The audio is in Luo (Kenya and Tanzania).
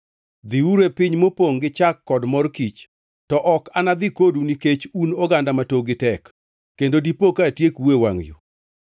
Dhiuru e piny mopongʼ gi chak kod mor kich. To ok anadhi kodu nikech un oganda ma tokgi tek kendo dipo ka atiekou e wangʼ yo.”